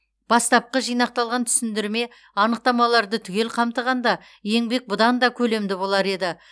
бастапқы жинақталған түсіндірме анықтамаларды түгел қамтығанда еңбек бұдан да көлемді болар еді